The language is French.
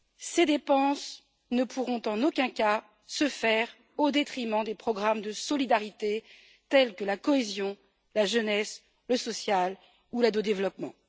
Ces dépenses ne pourront en aucun cas se faire au détriment des programmes de solidarité, tels que la cohésion, la jeunesse, le social ou l'aide au développement.